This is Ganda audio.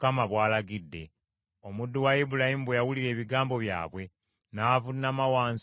Omuddu wa Ibulayimu bwe yawulira ebigambo byabwe n’avuunama wansi mu maaso ga Mukama .